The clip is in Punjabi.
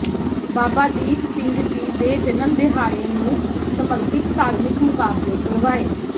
ਬਾਬਾ ਦੀਪ ਸਿੰਘ ਜੀ ਦੇ ਜਨਮ ਦਿਹਾੜੇ ਨੂੰ ਸਮਰਪਿਤ ਧਾਰਮਿਕ ਮੁਕਾਬਲੇ ਕਰਵਾਏ